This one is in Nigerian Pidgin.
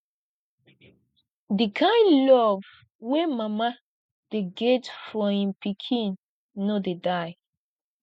di kain love wey mama dey get for im pikin no dey die